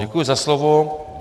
Děkuji za slovo.